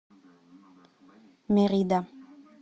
мерида